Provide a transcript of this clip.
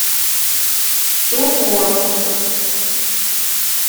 сохо